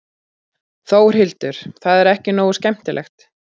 Þórhildur: Það er ekki nógu skemmtilegt?